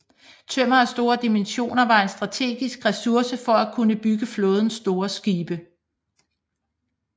Tømmer af store dimensioner var en strategisk ressource for at kunne bygge flådens store skibe